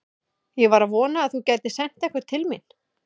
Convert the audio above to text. Ég var að vona að þú gætir sent einhvern til mín.